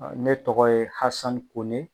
Ɔ ne tɔgɔ ye hasani kone